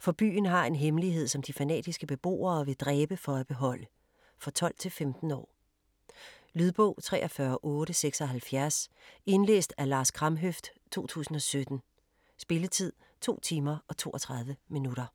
For byen har en hemmelighed, som de fanatiske beboere vil dræbe for at beholde. For 12-15 år. Lydbog 43876 Indlæst af Lars Kramhøft, 2017. Spilletid: 2 timer, 32 minutter.